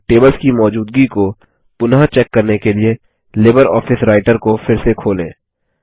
और टेबल्स की मौजूदगी को पुनः चेक करने के लिए लिबरऑफिस राइटर को फिर से खोलें